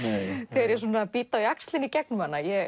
þegar ég bít á jaxlinn í gegnum hana ég